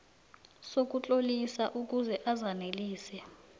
sokutlolisa ukuze azanelise